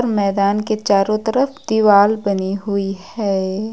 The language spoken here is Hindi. मैदान के चारो तरफ दीवाल बनी हुई है।